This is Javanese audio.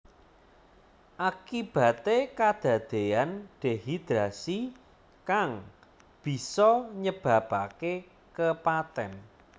Akibate kadadeyan dehidrasi kang bisa nyebabake kepatèn